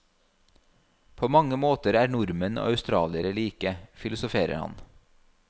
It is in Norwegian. På mange måter er nordmenn og australiere like, filosoferer han.